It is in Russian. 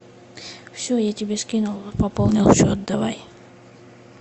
все я тебе скинула пополнила счет давай